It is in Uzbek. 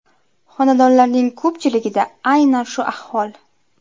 Xonadonlarning ko‘pchiligida aynan shu ahvol.